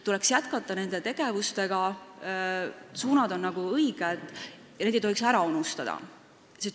Tuleks jätkata neid tegevusi, suunad on õiged, ja neid tegevusi ei tohiks ära unustada.